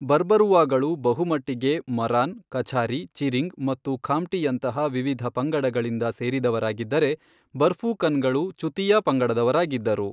ಬರ್ಬರುವಾಗಳು ಬಹುಮಟ್ಟಿಗೆ ಮರಾನ್, ಕಛಾರಿ, ಚಿರಿಂಗ್ ಮತ್ತು ಖಾಮ್ಟಿಯಂತಹ ವಿವಿಧ ಪಂಗಡಗಳಿಂದ ಸೇರಿದವರಾಗಿದ್ದರೆ, ಬರ್ಫೂಕನ್ಗಳು ಚುತೀಯಾ ಪಂಗಡದವರಾಗಿದ್ದರು.